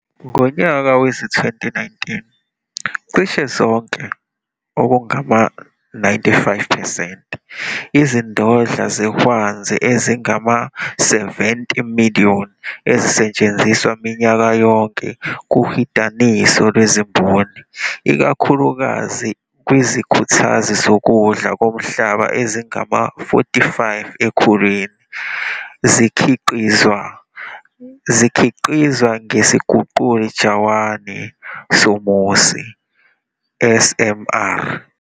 Ngonyaka wezi-2019, cishe zonke, okungama-95 percent, izindodla zehwanzi ezingama-70 million ezisetshenziswa minyaka yonke kuhidaniso lwezimboni, ikakhulukazi kwizikhuthazi zokudla komhlaba ezingama-45 ekhulwini, zikhiqizwa ngesiguqula jawani somusi, SMR.